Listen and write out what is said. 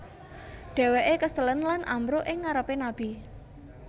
Dheweke keselen lan ambruk ing ngarepe Nabi